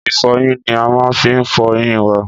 Ìfọyín ni a má n fi fọ eyín wa